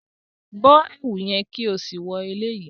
Bọ ẹwu yẹn ki o si wọ eleyi!